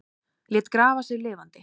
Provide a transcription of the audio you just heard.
Lét grafa sig lifandi